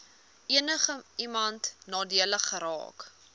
enigiemand nadelig geraak